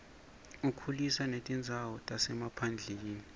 ukhulisa netindzawo tasemaphandleni